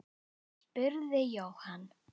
spurði Jóhann.